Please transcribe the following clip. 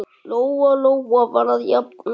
Lóa-Lóa var að jafna sig.